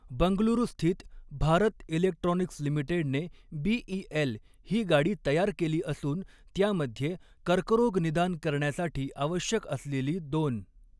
बंगलुरूस्थित Bharat electronics लिमिटेडने BEL ही गाडी तयार केली असून त्यामध्ये कर्करोग निदान करण्यासाठी आवश्यक असलेली दोन.